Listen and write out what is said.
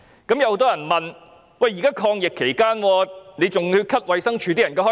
但有人問，現在是抗疫期間，還要削減衞生署人員薪酬開支？